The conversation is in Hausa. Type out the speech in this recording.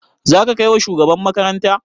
Za ka kai wa shugaban makaranta?